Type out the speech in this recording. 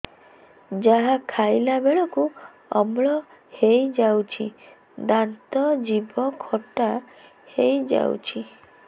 ଯାହା ଖାଇଲା ବେଳକୁ ଅମ୍ଳ ହେଇଯାଉଛି ଦାନ୍ତ ଜିଭ ଖଟା ହେଇଯାଉଛି